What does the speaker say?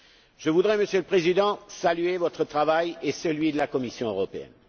Je voudrais, Monsieur le Président, saluer votre travail et celui de la Commission européenne.